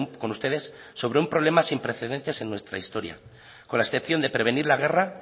con ustedes sobre un problema sin precedentes en nuestra historia con la excepción de prevenir la guerra